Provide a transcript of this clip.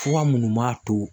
Fuga munnu m'a to